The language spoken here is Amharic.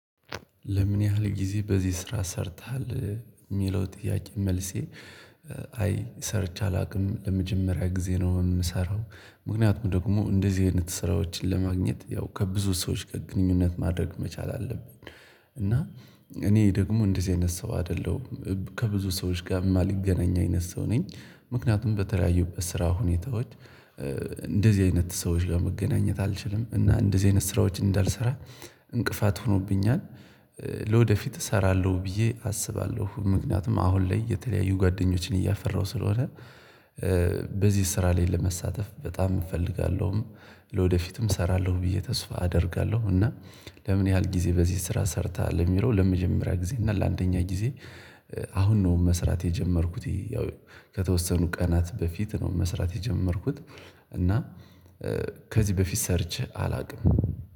ለምን ያህል ጊዜ በዚህ ስራ ሰርተሃል የሚለው ጥያቄ መልሴ። አይ ሰርቼ አላውቅም ለመጀመሪያ ጊዜ ነው የምሰራው። ምክንያቱም ደግሞ እንደዚህ አይነት ስራዎችን ለማግኘት ያው ከብዙ ሰዎች ጋር ግንኙነት ማድረግ መቻል አለብን። እና እኔ ደግሞ እንደዚህ አይነት ሰው አይደለሁም። ከብዙ ሰዎች ጋር የማልገናኝ አይነት ሰው ነኝ። ምክንያቱም በተለያዩበት ስራ ሁኔታዎች እንደዚህ አይነት ሰዎች ለመገናኘት አልችልም እና እንደዚህ አይነት ስራዎች እንዳልሰራ እንቅፋት ሆኖብኛል። ለወደፊት እሰራለሁ ብዬ አስባለሁ ምክንያቱም አሁን ላይ የተለያዩ ጓደኞችን እያፈራሁ ስለሆነ። በዚህ ስራ ላይ ለመሳተፍ በጣም እፈልጋለሁም ለወደፊትም እሰራለሁ ብዬ ተስፋ አደርጋለሁ። እና ለምን ያህል ጊዜ በዚህ ስራ ሰርተሃል ለሚለው ለመጀመሪያ ጊዜ እና ለአንደኛ ጊዜ? አሁን ነው መስራት የጀመርኩት ያው ከተወሰኑ ቀናት በፊት ነው መስራት የጀመርኩት። እና ከዚህ በፊት ሰርቼ አላውቅም